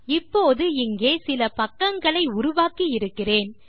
இப்போது இங்கே சில பக்கங்களை உருவாக்கி இருக்கிறேன்